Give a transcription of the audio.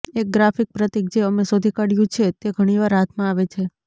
એક ગ્રાફિક પ્રતીક જે અમે શોધી કાઢ્યું છે તે ઘણી વાર હાથમાં આવે છે